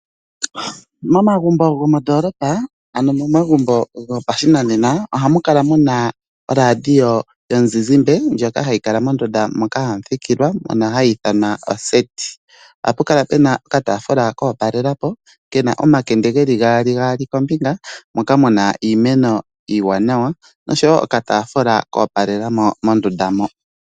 Momagumbo gondoolopa, ano momagumbo hopashinanena, oha mu kala muna radio yomuzizimbe, ndjoka ha yi kala mondunda moka ha mu thikilwa ha yi ithanwa oseti. Oha pu kala Pena oka yaafula koopalelapo kana omakende ge li haali, gasli kombinga, moka muna iimeno iiwanawa, osho woo okataafula ko opalelamo mondunda mo.